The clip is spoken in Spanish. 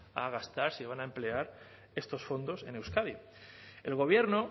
a gastar se iban a emplear estos fondos en euskadi el gobierno